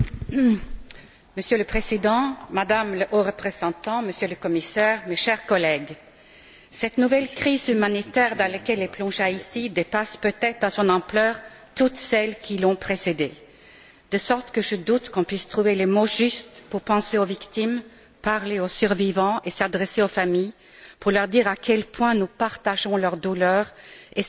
Monsieur le Président, Madame la Haute représentante, Monsieur le Commissaire, chers collègues, cette nouvelle crise humanitaire dans laquelle est plongée Haïti dépasse peut être dans son ampleur toutes celles qui l'ont précédée, de sorte que je doute qu'on puisse trouver les mots justes pour penser aux victimes, parler aux survivants et s'adresser aux familles pour leur dire à quel point nous partageons leur douleur et sommes conscients